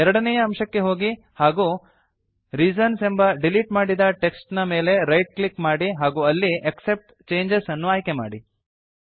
ಎರಡನೇ ಅಂಶಕ್ಕೆ ಹೋಗಿ ಹಾಗೂ ರೀಸನ್ಸ್ ಎಂಬ ಡೀಲೀಟ್ ಮಾಡಿದ ಟೆಕ್ಸ್ಟ್ ನ ಮೇಲೆ ರೈಟ್ ಕ್ಲಿಕ್ ಮಾಡಿ ಹಾಗೂ ಅಲ್ಲಿ ಆಕ್ಸೆಪ್ಟ್ ಚೇಂಜಸ್ ಅನ್ನು ಆಯ್ಕೆ ಮಾಡಿ